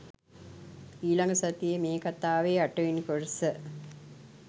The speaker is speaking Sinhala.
ඊළඟ සතියේ මේ කතාවේ අටවෙනි කොටස